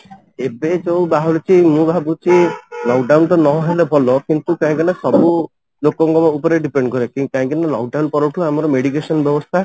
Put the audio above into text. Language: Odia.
ଏବେ ଯୋଉ ବାହାରୁଛି ମୁଁ ଭାବୁଛି lock down ଟା ନ ହେଲେ ଭଲ କିନ୍ତୁ କାହିଁକି ନା ସବୁ ଲୋକ ଙ୍କ ଉପରେ depend କରେ କାହିଁକି ନା lock down ପର ଠୁ ଆମ ମେଡିକେସନ ବ୍ୟବସ୍ଥା